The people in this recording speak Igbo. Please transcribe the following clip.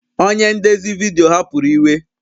Onye ndezi vidiyo hapụrụ iwe